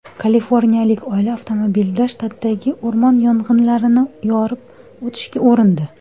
Kaliforniyalik oila avtomobilda shtatdagi o‘rmon yong‘inlarini yorib o‘tishga urindi.